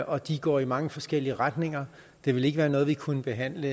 og de går i mange forskellige retninger det ville ikke være noget vi kunne behandle